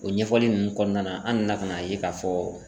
O ɲɛfɔli nunnu kɔnɔna na an nana ka n'a ye k'a fɔ